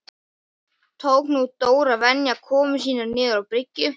Tók nú Dór að venja komur sínar niður á bryggju.